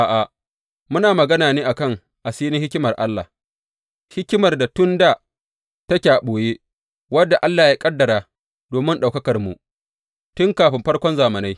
A’a, muna magana ne a kan asirin hikimar Allah, hikimar da tun dā, take a ɓoye, wadda Allah ya ƙaddara domin ɗaukakarmu, tun kafin farkon zamanai.